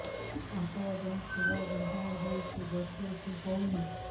ଅଣ୍ଟା ଏବଂ ଶୀରା ବିନ୍ଧା ହେଉଛି ବସି ଉଠି ହଉନି